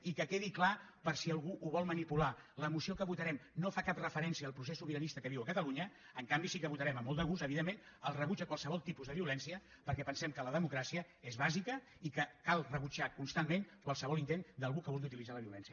i que quedi clar per si algú ho vol manipular la moció que votarem no fa cap referència al procés sobiranista que es viu a catalunya en canvi sí que votarem amb molt de gust evidentment el rebuig a qualsevol tipus de violència perquè pensem que la democràcia és bàsica i que cal rebutjar constantment qualsevol intent d’algú que vulgui utilitzar la violència